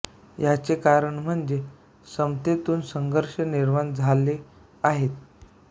याचे कारण म्हणजे समस्येतून संघर्ष निर्माण झाले आहेत